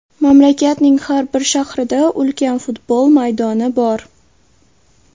Mamlakatning har bir shahrida ulkan futbol maydoni bor.